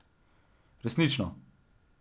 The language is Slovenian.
Resnično.